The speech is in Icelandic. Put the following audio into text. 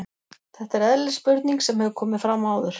Þetta er eðlileg spurning sem hefur komið fram áður.